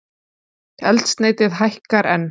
Eldsneytið hækkar enn